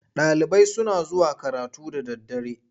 Ɗalibai suna zuwa karatu da daddare.